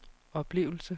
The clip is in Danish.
oplevelse